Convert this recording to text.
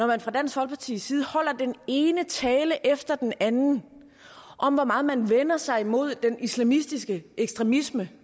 man fra dansk folkepartis side holder den ene tale efter den anden om hvor meget man vender sig imod den islamistiske ekstremisme